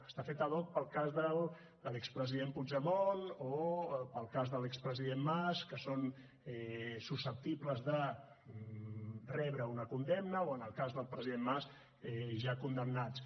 està feta hoc per al cas de l’expresident puigdemont o per al cas de l’expresident mas que són susceptibles de rebre una condemna o en el cas del president mas ja condemnats